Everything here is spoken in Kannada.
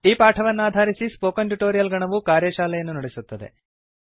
ಈ ಪಾಠವನ್ನಾಧರಿಸಿ ಸ್ಫೋಕನ್ ಟ್ಯುಟೋರಿಯಲ್ ನ ಗಣವು ಕಾರ್ಯಶಾಲೆಯನ್ನು ನಡೆಸುತ್ತದೆ